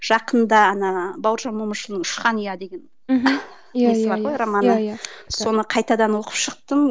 жақында ана бауыржан момышұлының ұшқан ұя деген мхм несі бар ғой романы соны қайтадан оқып шықтым